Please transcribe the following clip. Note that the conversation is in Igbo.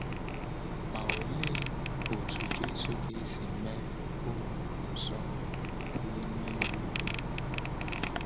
Ma òlee otú Jésù ga-esi mee ọrụ nsọ n’ihu onye iro ukwu Nna ya?